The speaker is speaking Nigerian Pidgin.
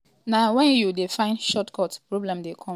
na wen you dey find short cut problem dey come.